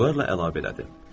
Vüqar da əlavə elədim.